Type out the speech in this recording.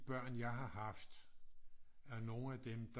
Børn jeg har haft er nogle af dem der